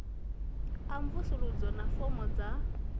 a mvusuludzo na fomo dza